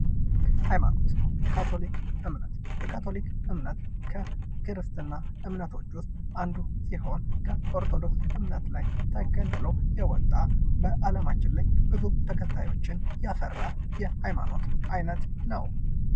ሀይማኖት የካቶሊክ እምነት፤ የካቶሊክ እምነት ከክርስትና እምነቶች ውስጥ አንዱ ሲሆን ከኦርቶዶክስ እምነት ላይ ተገንጥሎ የወጣ በአለማችን ላይ ብዙ ተከታዮችን ያፈራ የሃይማኖት አይነት ነው።